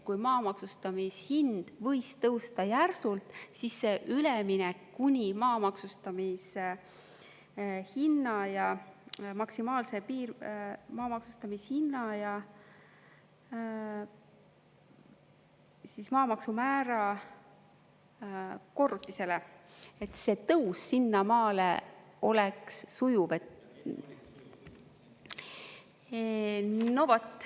Kui maa maksustamishind võis tõusta järsult, siis see üleminek kuni maa maksustamise hinna ja maksimaalse maa maksustamishinna ja maamaksumäära korrutisele, et see tõus sinnamaale oleks sujuv.